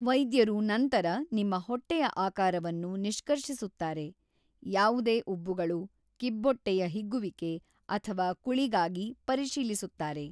ವೈದ್ಯರು ನಂತರ ನಿಮ್ಮ ಹೊಟ್ಟೆಯ ಆಕಾರವನ್ನು ನಿಷ್ಕರ್ಷಿಸುತ್ತಾರೆ, ಯಾವುದೇ ಉಬ್ಬುಗಳು, ಕಿಬ್ಬೊಟ್ಟೆಯ ಹಿಗ್ಗುವಿಕೆ ಅಥವಾ ಕುಳಿಗಾಗಿ ಪರಿಶೀಲಿಸುತ್ತಾರೆ.